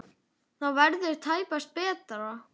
Það verður tæpast betra.